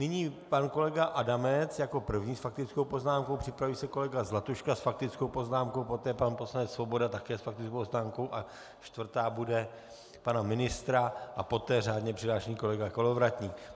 Nyní pan kolega Adamec jako první s faktickou poznámkou, připraví se kolega Zlatuška s faktickou poznámkou, poté pan poslanec Svoboda také s faktickou poznámkou a čtvrtá bude pana ministra a poté řádně přihlášený kolega Kolovratník.